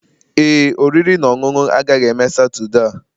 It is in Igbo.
Ee, oriri na ọṅụṅụ agaghị eme Saturday a.